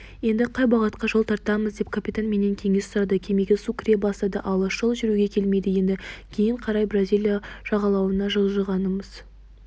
енді қай бағытқа жол тартамыз деп капитан менен кеңес сұрады кемеге су кіре бастады алыс жол жүруге келмейді енді кейін қарай бразилия жағалауына жылжығанымыз